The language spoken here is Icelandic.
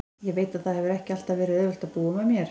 Ég veit að það hefur ekki alltaf verið auðvelt að búa með mér.